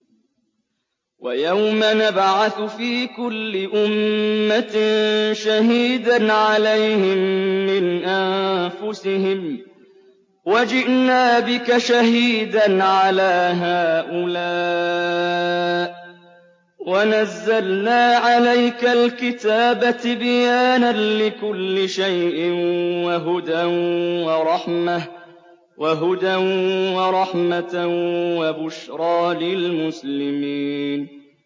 وَيَوْمَ نَبْعَثُ فِي كُلِّ أُمَّةٍ شَهِيدًا عَلَيْهِم مِّنْ أَنفُسِهِمْ ۖ وَجِئْنَا بِكَ شَهِيدًا عَلَىٰ هَٰؤُلَاءِ ۚ وَنَزَّلْنَا عَلَيْكَ الْكِتَابَ تِبْيَانًا لِّكُلِّ شَيْءٍ وَهُدًى وَرَحْمَةً وَبُشْرَىٰ لِلْمُسْلِمِينَ